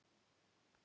Hver var Akkilles?